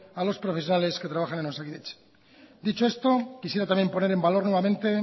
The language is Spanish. a los profesionales que trabajan en osakidetza dicho esto quisiera también poner en valor nuevamente